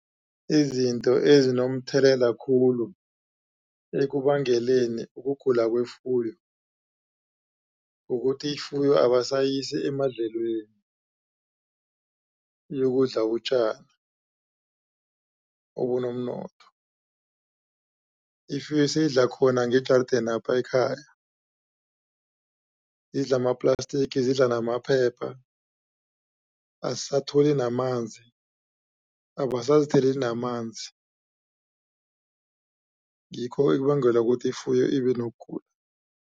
Izinto ezinomthelela khulu ekubangeleni ukugula kwefuyo kukuthi ifuyo abasayisi emadlelweni iyokudla utjani obunomnotho ifuyo seyidla khona ngejardeni lapha ekhaya idla ama-plastic idla namaphepha azisatholi namanzi abasazitheleli namanzi ngikho okubangela ukuthi ifuyo ibe nokugula.